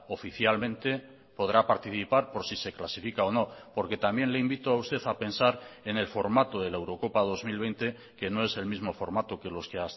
oficialmente podrá participar por si se clasifica o no porque también le invito a usted a pensar en el formato de la eurocopa dos mil veinte que no es el mismo formato que los que